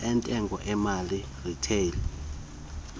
entengo emali retail